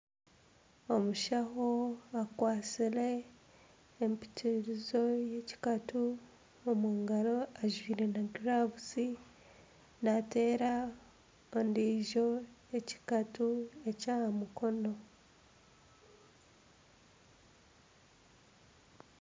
Omushaho akwatsire empitirizo y'ekikatu omungaro ajwaire na gilavuzi nateera ondiijo ekikatu ekyahamukono